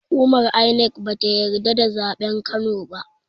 Hukumar INEC bata yadda da zaɓen kano ba